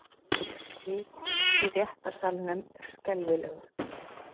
Hitinn í réttarsalnum er skelfilegur.